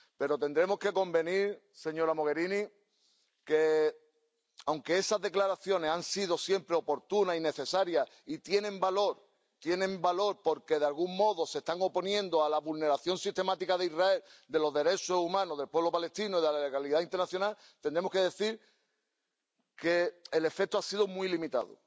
Pero tendremos que convenir, señora Mogherini, en que, aunque esas declaraciones han sido siempre oportunas y necesarias, y tienen valor —tienen valor porque, de algún modo, se están oponiendo a la vulneración sistemática por Israel de los derechos humanos del pueblo palestino y de la legalidad internacional—, el efecto ha sido muy limitado.